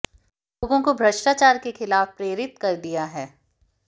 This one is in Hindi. लोगों को भ्रष्टाचार के खिलाफ प्रेरित कर दिया है